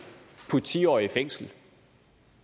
det ti årige i fængsel